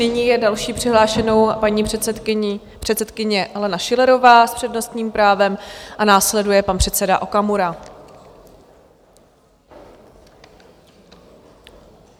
Nyní je další přihlášenou paní předsedkyně Alena Schillerová s přednostním právem a následuje pan předseda Okamura.